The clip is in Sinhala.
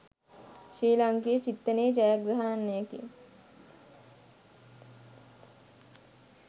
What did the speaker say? ශ්‍රී ලාංකීය චින්තනයේ ජයග්‍රහණයකි